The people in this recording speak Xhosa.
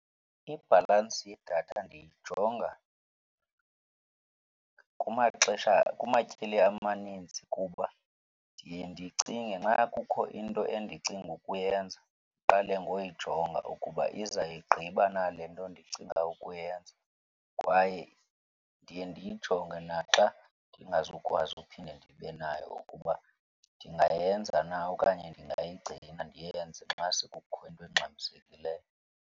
Ibhalansi yedatha ndiyijonga kumaxesha kumatyeli amaninzi kuba ndiye ndicinge nxa kukho into endicinga ukuyenza, ndiqale ngoyijonga ukuba izayigqiba na le nto ndicinga ukuyenza. Kwaye ndiye ndiyijonge naxa ndingazukwazi uphinde ndibe nayo ukuba ndingayenza na okanye ndingayigcina ndiyenze xa sekukho into engxamisekileyo.